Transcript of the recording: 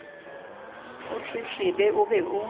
o tletlebe o be o